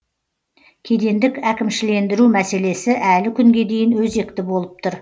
кедендік әкімшілендіру мәселесі әлі күнге дейін өзекті болып тұр